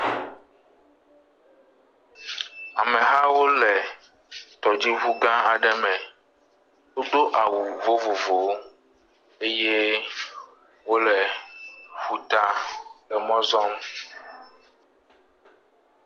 Amehawo le tɔdziŋugã aɖe me. Wodo awu vovovowo eye wole ƒuta emɔ zɔm.